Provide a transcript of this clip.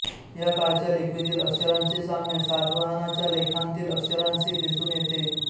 या काळच्या लिपीतील अक्षरांचे साम्य सातवाहनाच्या लेखांतील अक्षरांशी दिसून येते